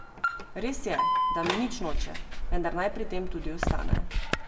Res je, da mi nič noče, vendar naj pri tem tudi ostane.